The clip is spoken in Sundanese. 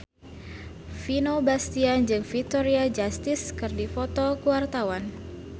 Vino Bastian jeung Victoria Justice keur dipoto ku wartawan